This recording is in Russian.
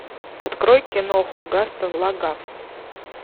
открой киноху гастон лагах